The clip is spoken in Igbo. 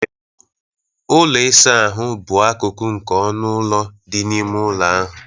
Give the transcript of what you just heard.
Ụlọ ịsa ahụ bụ akụkụ nke ọnụ ụlọ dị n'ime ụlọ ahụ.